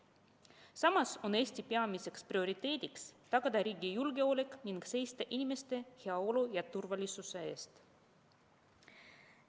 Samas on Eesti peamiseks prioriteediks tagada riigi julgeolek ning seista inimeste heaolu ja turvalisuse eest.